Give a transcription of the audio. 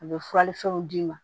A bɛ furali fɛnw d'i ma